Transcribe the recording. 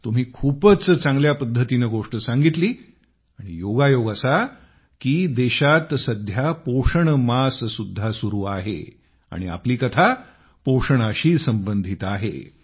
तुम्ही खूपच चांगल्या पद्धतीने गोष्ट सांगितली आणि योगायोग असा की देशात सध्या पोषण मास सुद्धा सुरू आहे आणि आपली कथा पोषणाशी संबंधित आहे